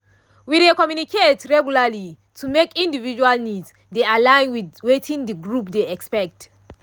we dey communicate regularly to make individual needs dey align with wetin the group dey expect